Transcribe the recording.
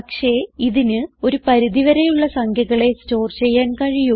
പക്ഷേ ഇതിന് ഒരു പരിധി വരെയുള്ള സംഖ്യകളെ സ്റ്റോർ ചെയ്യാൻ കഴിയൂ